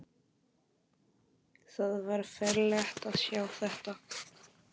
Það var ferlegt að sjá þetta!